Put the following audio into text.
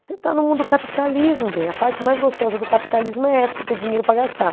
Você está no mundo capitalismo, bem, a parte mais gostosa do capitalismo é essa, você ter dinheiro para gastar.